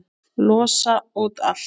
Losa út allt.